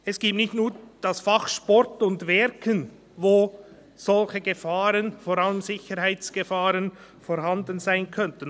Es gibt nicht nur die Fächer Sport und Werken, wo solche Gefahren, vorab Sicherheitsgefahren, vorhanden sein könnten.